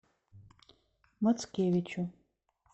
мацкевичу